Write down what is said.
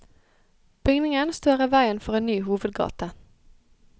Bygningen står i veien for en ny hovedgate.